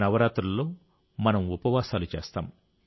నవరాత్రులలో మనం ఉపవాసాలు చేస్తాం